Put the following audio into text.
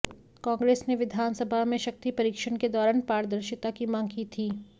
कांग्रेस ने विधानसभा में शक्ति परीक्षण के दौरान पारदर्शिता की मांग की थी